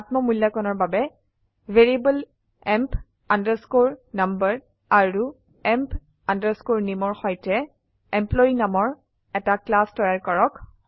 আত্ম মূল্যাকনৰ বাবে ভ্যাৰিয়েবল এম্প আন্ডাৰস্কোৰ নাম্বাৰ আৰুemp আন্ডাৰস্কোৰ নামে ৰ সৈতেEmployee নামৰ এটা ক্লাছ তৈয়াৰ কৰক